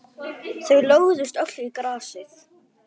Þau lögðust öll í grasið.